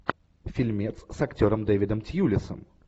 фильмец с актером дэвидом тьюлисом